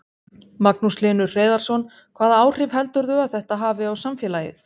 Magnús Hlynur Hreiðarsson: Hvaða áhrif heldurðu að þetta hafi á samfélagið?